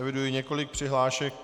Eviduji několik přihlášek.